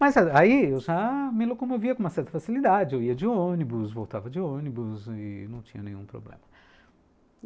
Mas aí eu já me locomovia com uma certa facilidade, eu ia de ônibus, voltava de ônibus e não tinha nenhum problema.